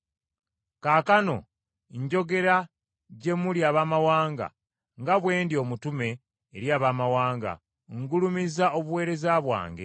Kaakano njogera gye muli Abaamawanga, nga bwe ndi omutume eri Abaamawanga, ngulumiza obuweereza bwange,